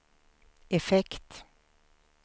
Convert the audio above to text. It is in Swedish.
effekt